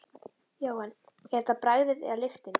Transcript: Jóhann: Er þetta bragðið eða lyktin?